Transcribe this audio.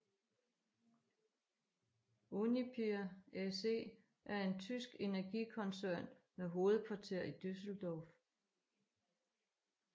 Uniper SE er en tysk energikoncern med hovedkvarter i Düsseldorf